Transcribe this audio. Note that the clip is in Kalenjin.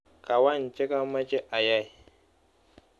Kawany chekamache ayai.